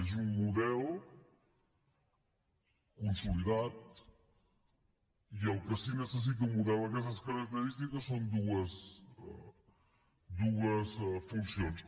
és un model consolidat i el que sí que necessita un model d’aquestes característiques són dues funcions